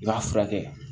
I b'a furakɛ